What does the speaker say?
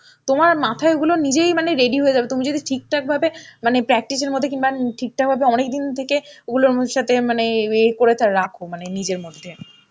তোমার মাথায় ওগুলো নিজেই মানে ready হয়ে যাবে তুমি যদি ঠিকঠাক ভাবে মানে practice এর মধ্যে কিংবা ঠিক ঠাক ভাবে অনেক দিন থেকে ওগুলোর সাথে মানে ইয়ে করে টা রাখো মানে নিজের মধ্যে.